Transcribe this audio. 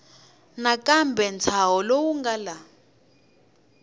nakambe ntshaho lowu nga laha